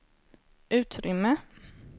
utrymme